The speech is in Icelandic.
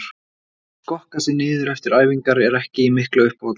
Að skokka sig niður eftir æfingar er ekki í miklu uppáhaldi.